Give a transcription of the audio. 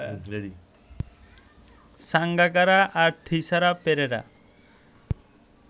সাঙ্গাকারা আর থিসারা পেরেরা